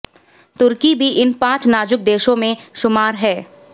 तुर्की भी इन पांच नाजुक देशों में शुमार है